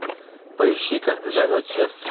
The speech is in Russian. поищи когда зовет сердце